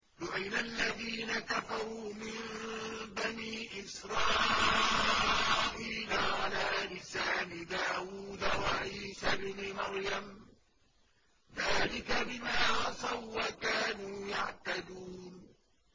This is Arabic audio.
لُعِنَ الَّذِينَ كَفَرُوا مِن بَنِي إِسْرَائِيلَ عَلَىٰ لِسَانِ دَاوُودَ وَعِيسَى ابْنِ مَرْيَمَ ۚ ذَٰلِكَ بِمَا عَصَوا وَّكَانُوا يَعْتَدُونَ